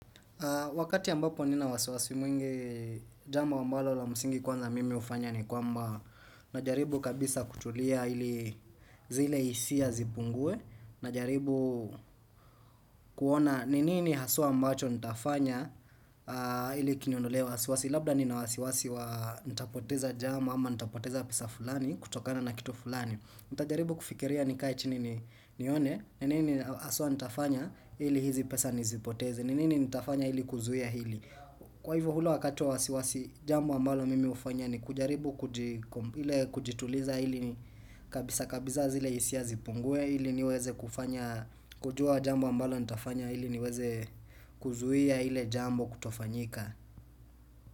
Wakati ambapo nina wasiwasi mwingi jambo ambalo la msingi kwanza mimi hufanya ni kwamba Najaribu kabisa kutulia ili zile hisia zipungue Najaribu kuona nini haswa ambacho nitafanya ili kiniondolee wasiwasi Labda nina wasiwasi wa nitapoteza jama ama nitapoteza pesa fulani kutokana na kitu fulani nitajaribu kufikiria nikae chini nione nini haswa nitafanya ili hizi pesa nisipoteze ni nini nitafanya ili kuzuia hili Kwa hivyo ule wakati wa wasiwasi jambo ambalo mimi hufanya ni kujaribu kujituliza ili kabisa kabisa zile hisia zipungue ili niweze kufanya kujua jambo ambalo nitafanya ili niweze kuzuia ile jambo kutofanyika.